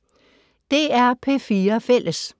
DR P4 Fælles